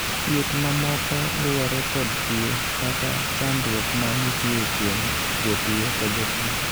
thieth mamoko luwore kod tuo kata chandruok ma nitie kuom jatuo ka jatuo